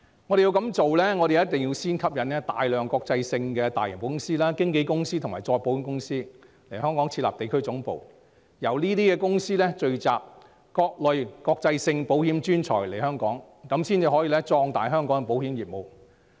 如要成事，我們必須先吸引大量國際保險公司、經紀公司及再保險公司來港設立地區總部，由這些公司聚集各類國際保險專才來港，這樣才可壯大香港的保險業務。